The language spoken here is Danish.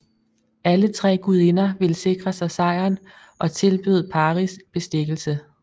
Alle tre gudinder ville sikre sig sejren og tilbød Paris bestikkelse